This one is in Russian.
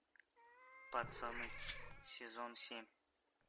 пацаны сезон семь